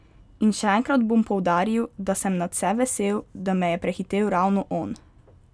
In še enkrat bom poudaril, da sem nadvse vesel, da me je prehitel ravno on.